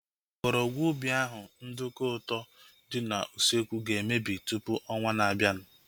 Mgbọrọgwụ ubi ahu (nduku ụtọ) dị n'usekwu ga-emebi tụpụ ọnwaa na-abianu